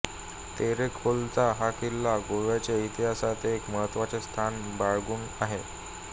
तेरेखोलचा हा किल्ला गोव्याच्या इतिहासात एक महत्त्वाचे स्थान बाळगून आहे